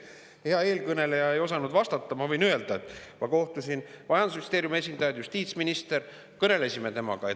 Hea eelkõneleja ei osanud vastata, aga ma võin öelda, et ma kohtusin majandusministeeriumi esindaja ja ka justiitsministriga, kõnelesime temaga.